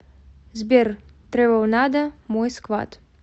сбер трэвл надо мой сквад